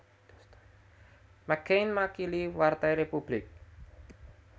McCain makili Partai Republik